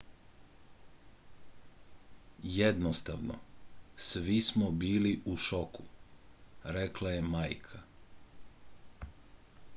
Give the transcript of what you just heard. jednostavno svi smo bili u šoku rekla je majka